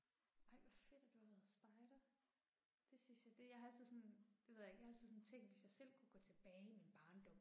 Ej hvor fedt at du har været spejder. Det synes jeg det jeg har altid sådan, det ved jeg ikke, jeg har altid sådan tænkt hvis jeg selv kunne gå tilbage i min barndom